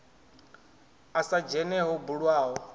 a sa dzhene ho bulwaho